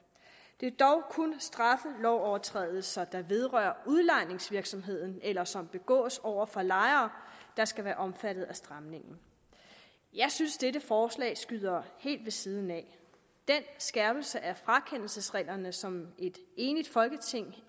det er dog kun straffelovovertrædelser der vedrører udlejningsvirksomheden eller som begås over for lejere der skal være omfattet af stramningen jeg synes dette forslag skyder helt ved siden af den skærpelse af frakendelsesreglerne som et enigt folketing